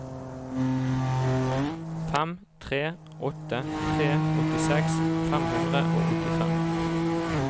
fem tre åtte tre åttiseks fem hundre og åttifem